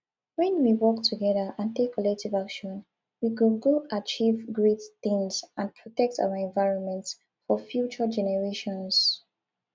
when we work together and take collective action we go go achieve great things and protect our environment for future generations